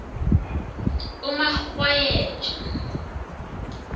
umarhwayeja